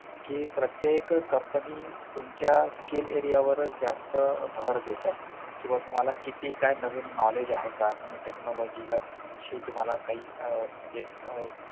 कि प्रत्येक company तुमच्या skill area वरच जास्त भर देतात किंवा तुम्हाला किती काय नवीन knowledge आहे का तुम्ही technology वर तुम्हाला काही आह म्हणजे आह